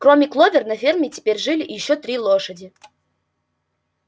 кроме кловер на ферме теперь жили ещё три лошади